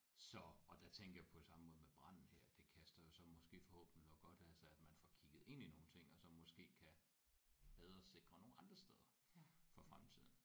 Så og der tænkte jeg på det samme både med branden her det kaster jo så måske forhåbentlig noget godt af sig at man får kigget ind i nogle ting og så måske kan bedre sikre nogle andre steder for fremtiden